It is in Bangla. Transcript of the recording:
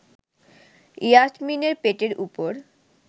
ইয়াসমিনের পেটের ওপর